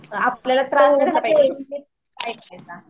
आपल्याला